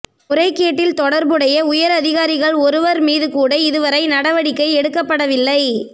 முறைகேட்டில் தொடர் புடைய உயர் அதிகாரிகள் ஒருவர் மீதுகூட இதுவரை நடவடிக்கை எடுக்கப்படவில்லை